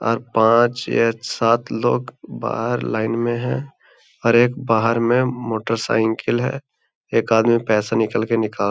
और पांच छह सात लोग बाहर लाइन में हैं और एक बाहर में मोटरसाइकिल है। एक आदमी पैसे निकल के निकाल --